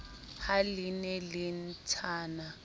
ha le ne le ntshana